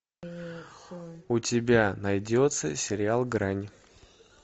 у тебя найдется сериал грань